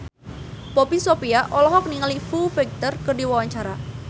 Poppy Sovia olohok ningali Foo Fighter keur diwawancara